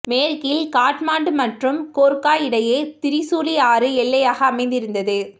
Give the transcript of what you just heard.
மேற்கில் காட்மாண்டு மற்றும் கோர்க்கா இடையே திரிசூலி ஆறு எல்லையாக அமைந்திருந்தது